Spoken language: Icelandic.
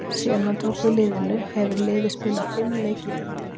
Síðan hann tók við liðinu hefur liðið spilað fimm leiki í deildinni.